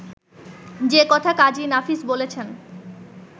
যে কথা কাজী নাফিস বলেছেন